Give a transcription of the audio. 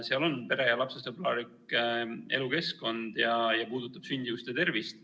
Seal on juttu pere- ja lapsesõbralikust elukeskkonnast ja see puudutab sündimust ja tervist.